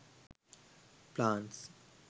plants